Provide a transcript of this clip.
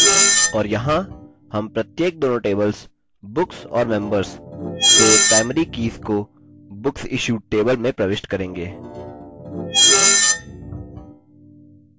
और यहाँ हम प्रत्येक दोनों tablesbooks और members से primary कीज़ कोbooksissued table में प्रविष्ट करेंगे